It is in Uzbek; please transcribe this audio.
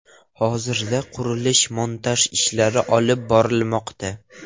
Hozirda qurilish-montaj ishlari olib borilmoqda.